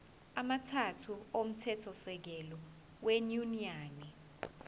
amathathu omthethosisekelo wenyunyane